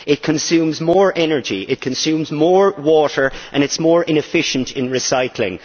It consumes more energy, it consumes more water, and it is more inefficient in recycling.